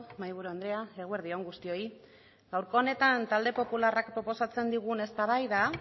mahaiburu andrea eguerdi on guztioi gaurko honetan talde popularrak proposatzen digun eztabaida